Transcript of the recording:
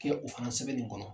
Kɛ o fana sɛbɛn nin kɔnɔ.